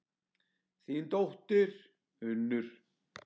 Þín dóttir, Unnur.